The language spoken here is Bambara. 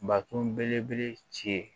Bakun belebele ci